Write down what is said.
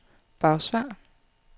Bagsværd